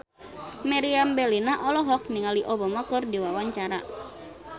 Meriam Bellina olohok ningali Obama keur diwawancara